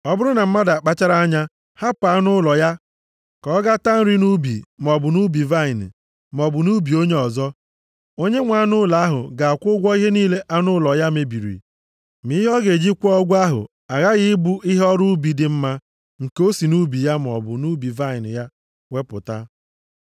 “Ọ bụrụ na mmadụ akpachara anya hapụ anụ ụlọ ya ka ọ gaa taa nri nʼubi maọbụ nʼubi vaịnị, maọbụ nʼubi onye ọzọ, onyenwe anụ ụlọ ahụ ga-akwụ ụgwọ ihe niile anụ ụlọ ya mebiri, ma ihe ọ ga-eji kwụọ ụgwọ ahụ aghaghị ịbụ ihe ọrụ ubi dị mma nke o si nʼubi ya maọbụ nʼubi vaịnị ya wepụta.